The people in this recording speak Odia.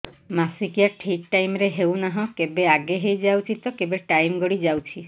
ମାସିକିଆ ଠିକ ଟାଇମ ରେ ହେଉନାହଁ କେବେ ଆଗେ ହେଇଯାଉଛି ତ କେବେ ଟାଇମ ଗଡି ଯାଉଛି